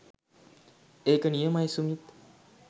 ඒක නියමයි සුමිත්